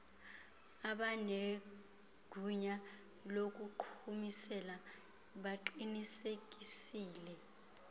abanegunya lokuqhumisela baqinisekisile